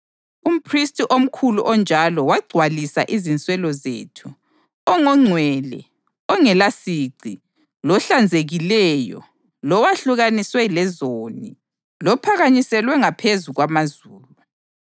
Umphristi omkhulu onjalo wagcwalisa izinswelo zethu, ongongcwele, ongelasici, lohlanzekileyo, lowehlukaniswe lezoni, lophakanyiselwe ngaphezu kwamazulu.